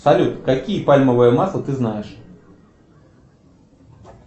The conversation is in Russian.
салют какие пальмовые масла ты знаешь